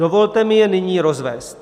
Dovolte mi je nyní rozvést.